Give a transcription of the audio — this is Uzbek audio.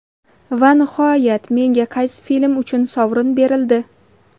Va nihoyat, menga qaysi film uchun sovrin berildi?..